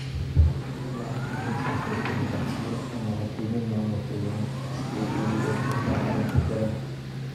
"Laakiin ilaa hadda ma aysan soo dirin codsiyo ama la kulmin maamulka United si ay uga wada hadlaan arrinta xireenka."